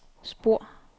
spor